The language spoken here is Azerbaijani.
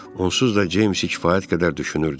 Onsuz da Ceymsi kifayət qədər düşünürdü.